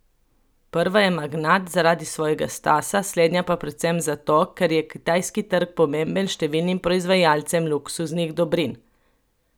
Prva je magnat zaradi svojega stasa, slednja pa predvsem zato, ker je kitajski trg pomemben številnim proizvajalcem luksuznih dobrin.